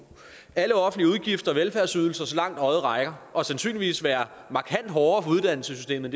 alle offentlige udgifter og velfærdsydelser så langt øjet rækker og sandsynligvis vil være markant hårdere for uddannelsessystemet